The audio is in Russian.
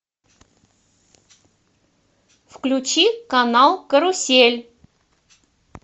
включи канал карусель